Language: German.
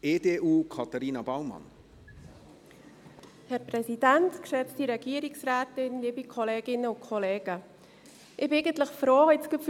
Ich bin jetzt eigentlich gerade froh um Ihre Aussage, Grossrat Näf: